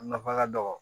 A nafa ka dɔgɔ